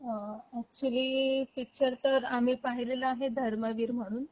अ, actually picture तर आम्ही पहिलेला आहे धर्मवीर म्हणून